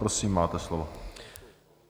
Prosím, máte slovo.